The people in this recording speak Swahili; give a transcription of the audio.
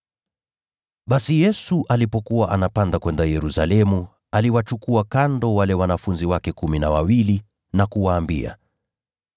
Basi Yesu alipokuwa anapanda kwenda Yerusalemu, aliwachukua kando wale wanafunzi wake kumi na wawili na kuwaambia,